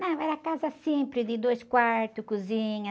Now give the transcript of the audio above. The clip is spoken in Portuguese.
Não, era casa simples, de dois quartos, cozinha.